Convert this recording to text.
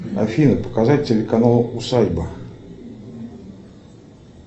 афина показать телеканал усадьба